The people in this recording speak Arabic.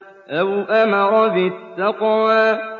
أَوْ أَمَرَ بِالتَّقْوَىٰ